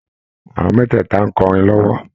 Àwọn mẹ́tẹ̀ẹ̀tà n kọrin lọ́wọ́